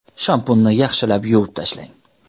Shampunni yaxshilab yuvib tashlang.